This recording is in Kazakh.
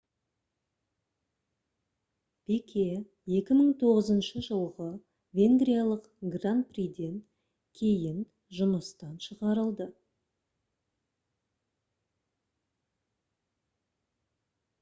пике кіші 2009 жылғы венгриялық гран приден кейін жұмыстан шығарылды